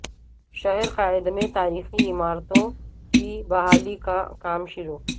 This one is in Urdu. شہر قائد میں تاریخی عمارتوں کی بحالی کا کام شروع